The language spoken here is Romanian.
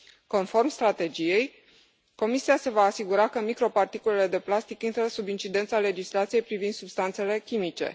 Conform strategiei, Comisia se va asigura că microparticulele de plastic intră sub incidența legislației privind substanțele chimice.